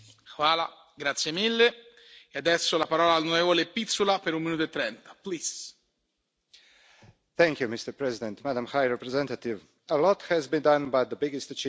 Mr President, Madam High Representative, a lot has been done, but the biggest achievement of the last three years is the building of European defence.